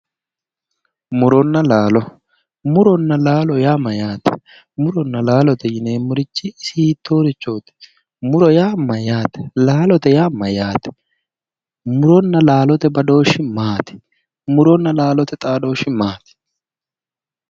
Muronna laalo, muronna laalo yaa mayyaate? Muronna laalote yineemmorichi isi hiittoorichooti? Muro yaa mayyate? Laalote yaa mayyaate? Muronna laalote badooshshi maati? Muronna laalote xaadooshshi maati?